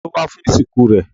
Ta ló wá fún ìsìnkú rẹ̀?